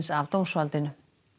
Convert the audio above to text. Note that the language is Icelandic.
af dómsvaldinu